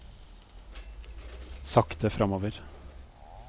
sakte fremover